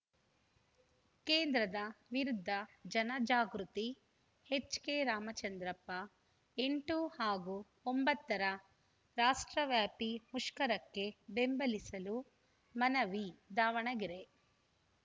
ಕೇಂದ್ರದ ವಿರುದ್ಧ ಜನಜಾಗೃತಿ ಎಚ್‌ಕೆರಾಮಚಂದ್ರಪ್ಪ ಎಂಟು ಹಾಗೂ ಒಂಬತ್ತ ರ ರಾಷ್ಟ್ರವ್ಯಾಪಿ ಮುಷ್ಕರಕ್ಕೆ ಬೆಂಬಲಿಸಲು ಮನವಿ ದಾವಣಗೆರೆ